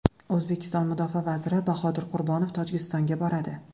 O‘zbekiston mudofaa vaziri Bahodir Qurbonov Tojikistonga boradi.